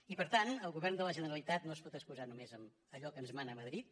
i per tant el govern de la generalitat no es pot excusar només en allò que ens mana madrid